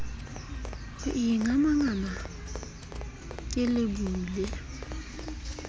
ho ingamangama ke le bule